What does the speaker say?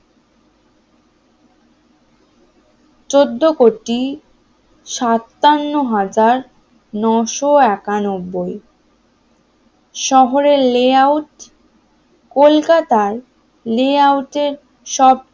চোদ্দ কোটি সাতান্ন হাজার নয়শো একানব্বই শহরের লেআউট কলকাতায় লে আউটের সব